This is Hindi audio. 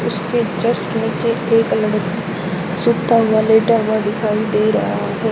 उसके जस्ट नीचे एक लड़की सुता हुआ लेटा हुआ दिखाई दे रहा है।